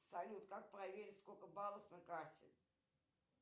салют как проверить сколько баллов на карте